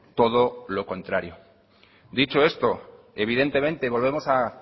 todo lo contrario dicho esto evidentemente volvemos a